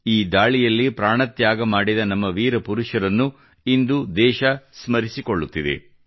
ಈ ದಾಳಿಯಲ್ಲಿ ಪ್ರಾಣ ತ್ಯಾಗ ಮಾಡಿದ ನಮ್ಮ ವೀರ ಪುರುಷರನ್ನು ಇಂದು ದೇಶ ಸ್ಮರಿಸಿಕೊಳ್ಳುತ್ತಿದೆ